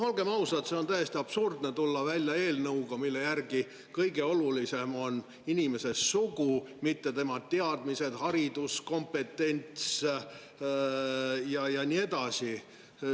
No olgem ausad, on täiesti absurdne tulla välja eelnõuga, mille järgi kõige olulisem on inimese sugu, mitte tema teadmised, haridus, kompetents ja nii edasi.